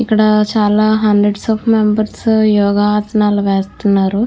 ఇక్కడ చాలా hundred of members yoga ఆసనాలు వేస్తున్నారు.